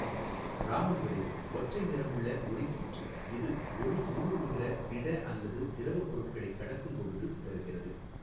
இராமன் விளைவு ஒற்றை நிறமுள்ள ஒளிக்கீற்று இது ஒளி ஊடுறுவுகிற திட அல்லது திரவ பொருட்களைக் கடக்கும் பொழுது சிதறுகிறது.